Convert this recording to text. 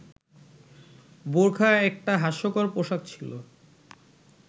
বোরখা একটা হাস্যকর পোশাক ছিল